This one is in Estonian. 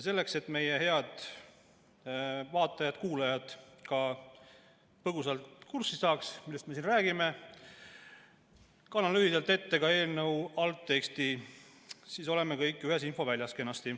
Selleks et meie head vaatajad-kuulajad ka põgusalt kurssi saaks, millest me siin räägime, kannan lühidalt ette eelnõu algteksti, siis oleme kõik kenasti ühes infoväljas.